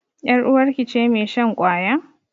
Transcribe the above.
Yar uwarki ce mai shan ƙwaya?